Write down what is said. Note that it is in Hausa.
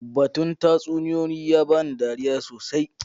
Batun tatsuniyoyi ya ba ni dariya sosai.